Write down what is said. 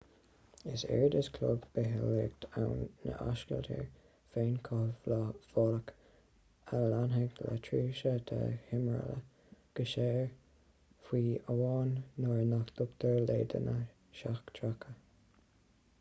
is éard is clog bitheolaíoch ann ná ascaltóir féinchothabhálach a leanfaidh le tréimhse de thimthriall go saor fiú amháin nuair nach dtugtar leideanna seachtracha